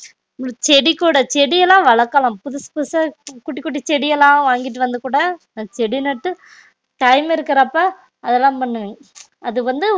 செடி கூட செடியலாம் வளக்கலாம் புதுசு புதுசா குட்டி குட்டி செடியல்லாம் வாங்கிட்டு வந்து கூட செடி நட்டு time இருக்குறப்ப அதுலாம் பன்னுவேன் அது வந்து